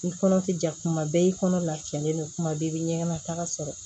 I kɔnɔ tɛ ja kuma bɛɛ i kɔnɔ lafiyalen don kuma bɛɛ i bɛ ɲɛgɛn nataga sɔrɔ